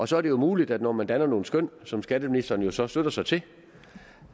så er det muligt når man danner nogle skøn som skatteministeren jo så støtter sig til